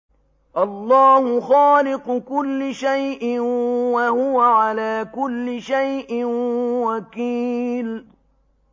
اللَّهُ خَالِقُ كُلِّ شَيْءٍ ۖ وَهُوَ عَلَىٰ كُلِّ شَيْءٍ وَكِيلٌ